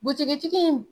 Butigi tigi in